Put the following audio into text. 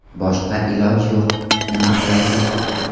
Boshqa iloj yo‘q, nima qilaylik?